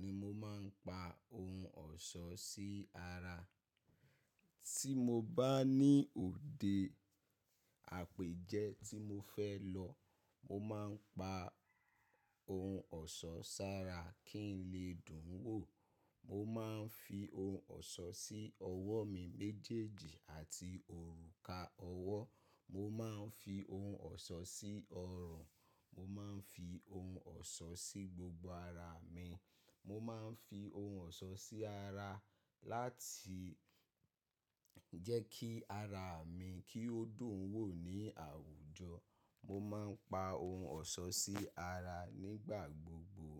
ni mo máa ń pa ohun ọ̀ṣọ́ sí ara. Tí mo bá ní òde àpèjẹ tí mo fẹ́ lọ, mo má ń pa ohun ọ̀ṣọ́ sára kí n lè dùn wò. Mo má ń fi ohun ọ̀ṣọ́ sí ọwọ́ mi méjèèjì àti òrùka ọwọ́. Mo má ń fi ohun ọ̀ṣọ́ sí ọrùn. Mo má ń fi ohun ọ̀ṣọ́ sí gbogbo ara mi. Mo má ń fi ohun ọ̀ṣọ́ sí ara láti jẹ́ kí ara mi kí ó dùn wò ní àwùjọ. Mo má ń pa ohun ọ̀ṣọ́ sí ara nígbà gbogbo.